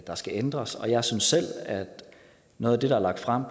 der skal ændres og jeg synes selv at noget af det der er lagt frem